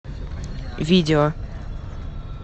видео